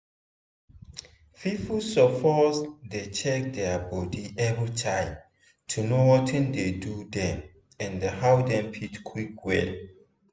people suppose dey check their body everytime to know watin dey do dem and how dem fit quick well.